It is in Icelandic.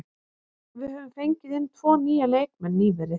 Við höfum fengið inn tvo nýja leikmenn nýverið.